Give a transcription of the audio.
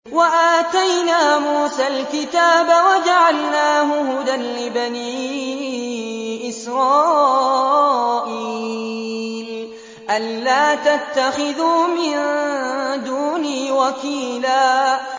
وَآتَيْنَا مُوسَى الْكِتَابَ وَجَعَلْنَاهُ هُدًى لِّبَنِي إِسْرَائِيلَ أَلَّا تَتَّخِذُوا مِن دُونِي وَكِيلًا